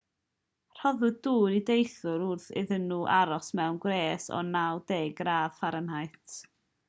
rhoddwyd dŵr i deithwyr wrth iddyn nhw aros mewn gwres o 90 gradd f